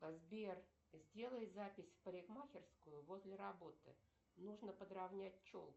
сбер сделай запись в парикмахерскую возле работы нужно подравнять челку